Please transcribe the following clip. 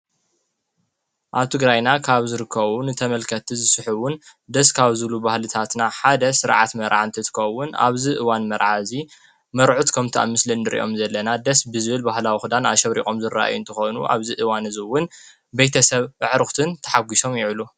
ኣብ ትግራይና ካብ ዝርኮውን እተመልከቲ ዝስሒውን ደስ ካብ ዝሉ ባህልታትና ሓደ ሥርዓት መርዓን ትትኮውን ኣብዝ እዋን መርዓ እዙ መርዑ ት ከምቲ ኣምስልን ድርእዮም ዘለና ደስ ብዝብል ባሃላ ዉዂዳን ኣሸብሪቖም ዝረእዮን ተኾኑ ኣብዝ እዋን እዙውን በይተሰብዕሩኽትን ተሓጕሶም ይውዕሉ።